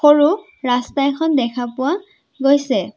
সৰু ৰাস্তা এখন দেখা পোৱা গৈছে।